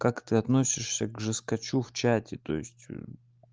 как ты относишься к жесткачу в чате то есть